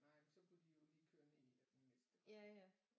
Nej men så kunne de jo lige køre ned af den næste vej ja